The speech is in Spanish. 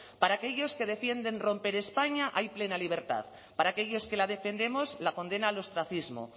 para aquellos que defienden romper españa hay plena libertad para aquellos que la defendemos la condena al ostracismo